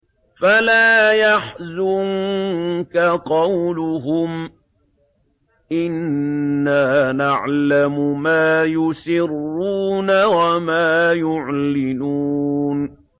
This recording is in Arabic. فَلَا يَحْزُنكَ قَوْلُهُمْ ۘ إِنَّا نَعْلَمُ مَا يُسِرُّونَ وَمَا يُعْلِنُونَ